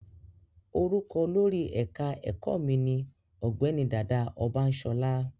Orúkọ olórí ẹ̀ka ẹ̀kọ́ mi ní Ọ̀gbẹ́ni Dàda Ọbańsọlá